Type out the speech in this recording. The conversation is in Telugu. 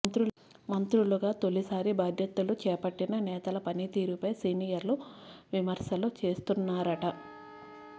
మంత్రులుగా తొలిసారి బాధ్యతలు చేపట్టిన నేతల పనితీరుపై సీనియర్లు విమర్శలు చేస్తున్నారట